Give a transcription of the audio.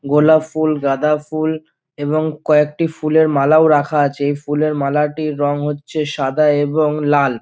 গোলাপ ফুল গাঁদা ফুল এবং কয়েকটি ফুলের মালাও রাখা আছে। এই ফুলের মালাটির রং হচ্ছে সাদা এবং লাল।